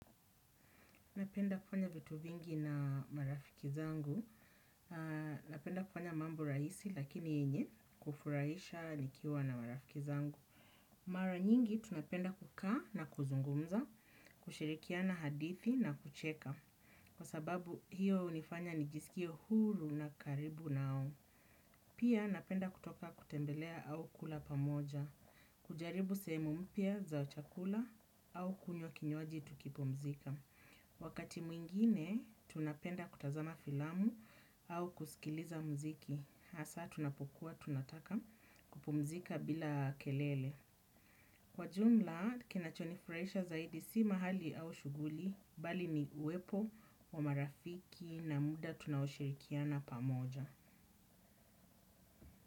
Napenda kufanya vitu vingi na marafiki zangu, napenda kufanya mambo rahisi lakini yenye kufuraisha nikiwa na marafiki zangu. Mara nyingi tunapenda kukaa na kuzungumza, kushirikiana hadithi na kucheka. Kwa sababu hiyo unifanya nijiskie huru na karibu nao. Pia napenda kutoka kutembelea au kula pamoja, kujaribu sehemu mpya za chakula au kunywa kinywaji tukipumzika. Wakati mwingine tunapenda kutazama filamu au kuskiliza mziki hasa tunapokuwa tunataka kupumzika bila kelele. Kwa jumla kinacho nifuraisha zaidi si mahali au shuguli bali ni uwepo wa marafiki na muda tunaoshirikiana pamoja.